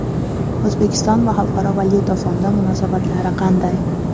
O‘zbekiston va Xalqaro valyuta fondi munosabatlari qanday?